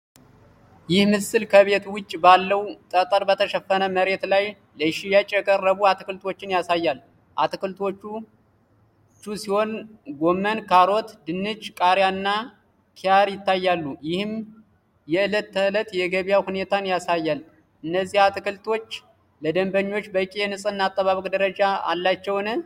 ይህ ምስል ከቤት ውጭ ባለው ጠጠር በተሸፈነ መሬት ላይ ለሽያጭ የቀረቡ አትክልቶችን ያሳያል። አትክልቶቹ ሲሆን ጎመን፣ ካሮት፣ ድንች፣ ቃሪያና ኪያር ይታያሉ፤ ይህም የእለት ተእለት የገበያ ሁኔታን ያሳያል። እነዚህ አትክልቶች ለደንበኞች በቂ የንጽህና አጠባበቅ ደረጃ አላቸውን?